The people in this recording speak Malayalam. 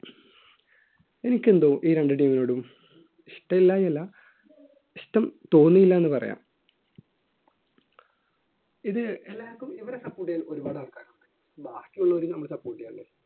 എനിക്കെന്തോ ഈ രണ്ടു team നോടും ഇഷ്ടമില്ലാഞ്ഞല്ലാ ഇഷ്ടം തോന്നിയില്ല എന്ന് പറയാം ഇത് എല്ലാവർക്കും ഇവരെ support ചെയ്യാൻ ഒരുപാട് ആൾക്കാരുണ്ട് ബാക്കിയുള്ളവരെയും നമ്മൾ support ചെയ്യേണ്ടേ